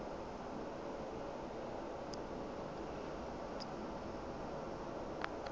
tla tsewa e le kumo